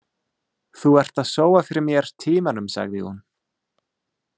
Þú ert að sóa fyrir mér tímanum sagði hún.